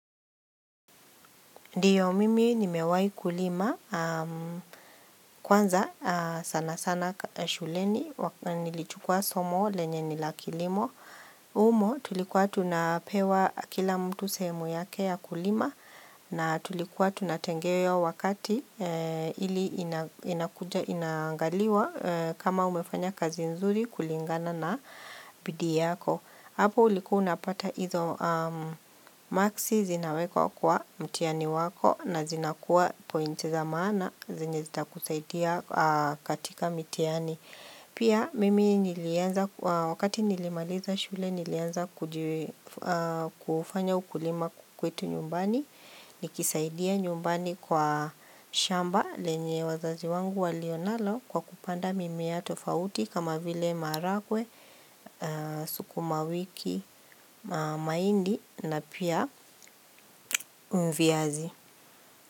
Ndiyo mimi nimewai kulima kwanza sana sana shuleni nilichukua somo lenye ni la kilimo humo tulikuwa tunapewa kila mtu sehemu yake ya kulima na tulikuwa tunatengewa wakati ili inaangaliwa kama umefanya kazi nzuri kulingana na bidii yako. Hapo ulikuwa unapata hizo maksi zinawekwa kwa mtiani wako na zinakuwa pointi za maana zenye zitakusaidia katika mitihani. Pia mimi nilianza, wakati nilimaliza shule nilianza kufanya ukulima kwetu nyumbani, nikisaidia nyumbani kwa shamba lenye wazazi wangu walio nalo kwa kupanda mimea tofauti kama vile maharagwe, sukumawiki, mahindi na pia viazi.